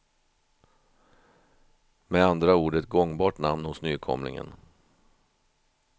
Med andra ord ett gångbart namn hos nykomlingen.